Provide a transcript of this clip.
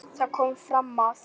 Þar kom fram að